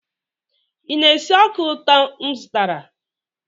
ị na-esi ọka ụtọ m zụtara?